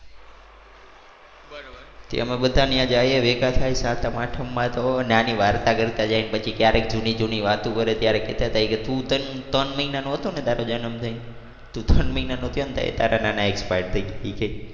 અમે બધા ના ત્યાં જઈએ ને ભેગા થઈ સાતમ આઠમ માં તો નાની વાર્તા કરતાં જાય ને પછી ક્યારેક જૂની જૂની વાતો કરે ત્યારે કેતા તા કે તું ત્રણ ત્રણ મહિના નો હતો ને તારો જનમ થઈ તું ત્રણ મહિના નો થયો ને તારા નાના expired થયા એ કે